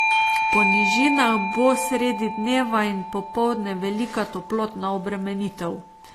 Po nižinah bo sredi dneva in popoldne velika toplotna obremenitev.